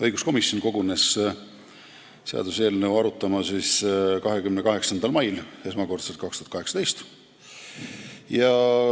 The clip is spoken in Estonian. Õiguskomisjon kogunes seaduseelnõu esmakordselt arutama 28. mail 2018.